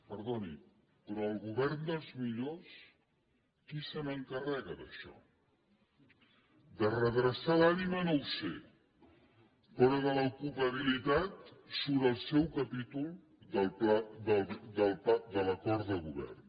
perdoni però al govern dels millors qui se n’encarrega d’això de redreçar l’ànima no ho sé però de l’ocupabilitat surt en el seu capítol de l’acord de govern